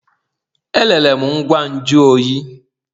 Erere m ngwa nju oyi.